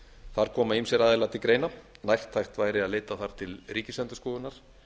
þar koma ýmsir aðilar til greina nærtækt væri að leita þar til ríkisendurskoðunar